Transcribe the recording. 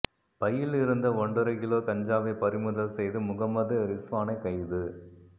பையில் இருந்த ஒன்றரை கிலோ கஞ்சாவை பறிமுதல் செய்து முகம்மது ரிஸ்வானை கைது